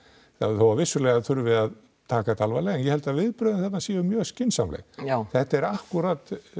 þó að vissulega þurfi að taka þetta alvarlega en ég held að viðbrögðin þarna séu mjög skynsamleg þetta er akkúrat